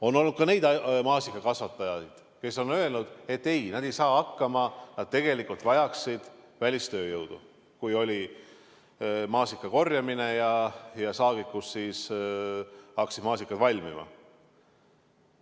On olnud ka neid maasikakasvatajaid, kes on öelnud, et ei, nad ei saa hakkama, nad tegelikult vajasid välistööjõudu, kui oli maasikakorjamine, kui maasikad hakkasid valmima.